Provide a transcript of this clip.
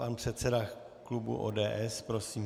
Pan předseda klubu ODS, prosím.